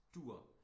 Dur